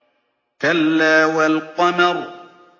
كَلَّا وَالْقَمَرِ